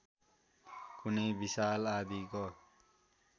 कुनै विशाल आँधीको